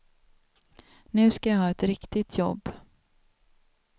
Nu ska jag ha ett riktigt jobb.